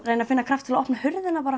reyni að finna kraft til að opna hurðina